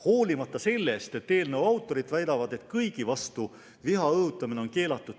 Hoolimata sellest, et eelnõu autorid väidavad, et ükskõik kelle vastu viha õhutamine on keelatud.